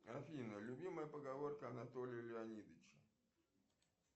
афина любимая поговорка анатолия леонидовича